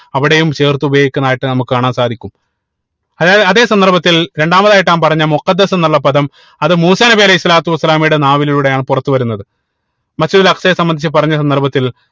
അവിടെയും ചേർത്ത് ഉപയോഗിക്കുന്നതായിട്ട് നമുക്ക് കാണാൻ സാധിക്കും അതായത് അതെ സന്ദർഭത്തിൽ രണ്ടാമതായിട്ട് ഞാൻ പറഞ്ഞ എന്നുള്ള പദം അത് മൂസാ നബി അലൈഹി സ്വലാത്തു വസ്സലാമയുടെ നാവിലൂടെയാണ് പുറത്തു വരുന്നത് Masjid ഉൽ അക്സയെ സംബന്ധിച്ച് പറഞ്ഞ സന്ദർഭത്തിൽ